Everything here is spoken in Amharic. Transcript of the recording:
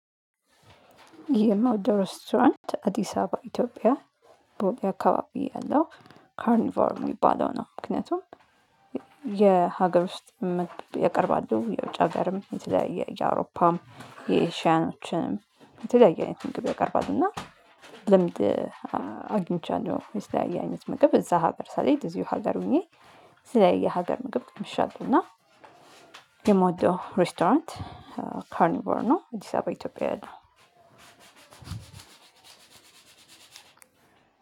የመውደው ሬስቶራንት አዲስ አበባ ኢትዮጵያ ቦሌ አካባቢ ያለው ካርንቫርም የሚባለው ነው። ምክንያቱም የሀገር ውስጥ ምግብ ያቀርባሉ የውጭ ሀገርም የተለያየ የአውሮፓም የእዥያኖችም የተለያየ ምግብ ያቀርባል። እና ልምድ አግኝቻለሁ። የተለያየ አይነት ምግብ እዛ ሀገር ሳልሄድ እዚሁ ሀገር ሆኜ ስለየ ሀገር ምግብ ቀምሻለሁ። እና የምወደው ሬስቶራንት ካርኒቮር ነው። አበባ ኢትዮጵያው ያለው